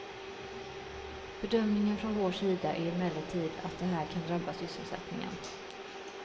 Bedömningen från vår sida är emellertid att det här kan drabba sysselsättningen.